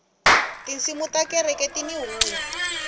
tinsimu ta kereke tini hungu